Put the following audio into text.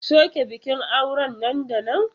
Soke bikin auren nan da nan!